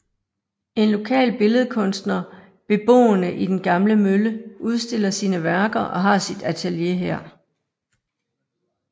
En lokal billedkunstner beboende i den gamle mølle udstiller sine værker og har sit atelier her